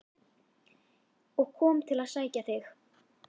og kom til að sækja þig.